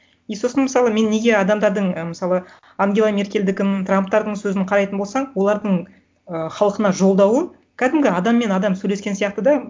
и сосын мысалы мен неге адамдардың і мысалы ангела меркельдікін трамптардың сөзін қарайтын болсаң олардың ы халқына жолдауы кәдімгі адам мен адам сөйлескен сияқты да